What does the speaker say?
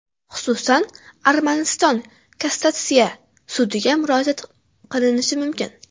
Xususan, Armaniston Kassatsiya sudiga murojaat qilinishi mumkin.